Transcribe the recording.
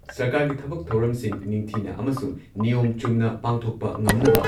ꯁꯔꯀꯥꯔꯒꯤ ꯊꯕꯛ ꯊꯧꯔꯝꯁꯤꯡ ꯅꯤꯡꯊꯤꯅ ꯑꯃꯁꯨꯡ ꯅꯤꯌꯣꯝ ꯆꯨꯝꯅ ꯄꯥꯡꯊꯣꯛꯄ ꯉꯝꯅꯕ